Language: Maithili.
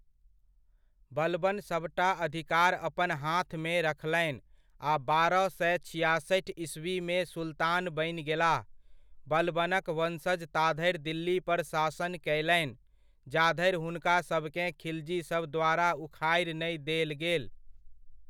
बलबन सभटा अधिकार अपन हाथमे रखलनि आ बारह सए छियासठि ईस्वीमे सुल्तान बनि गेलाह। बलबनक वंशज ता धरि दिल्ली पर शासन कयलनि, जा धरि हुनकासभकेँ खिलजीसभ द्वारा उखाड़ि नहि देल गेल।